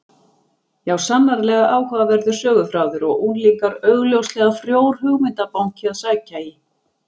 Já, sannarlega áhugaverður söguþráður og unglingar augljóslega frjór hugmyndabanki að sækja í.